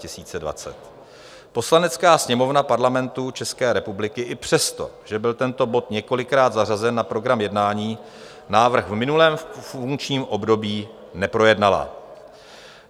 Poslanecká sněmovna Parlamentu České republiky i přesto, že byl tento bod několikrát zařazen na program jednání, návrh v minulém funkčním období neprojednala.